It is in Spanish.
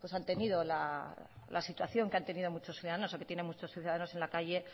han tenido la situación que han tenido muchos ciudadanos o que tienen muchos ciudadanos en la calle